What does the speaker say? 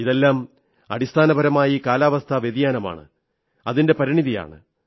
ഇതെല്ലാം അടിസ്ഥാനപരമായി കാലാവസ്ഥാ വ്യതിയാനമാണ് അതിന്റെ പരിണതിയാണ്